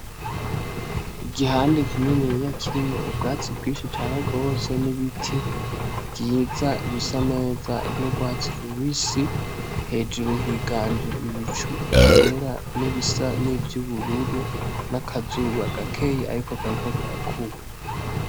Igihande kininiya kirimwo ubwatsi bwinshi cane rwose n'ibiti vyiza bisa neza n'urwatsi rubisi ,hejuru higanje ibicu vyera n'ibisa n'ivy'ubururu n'akazuba gakeya ariko kariko karakuba.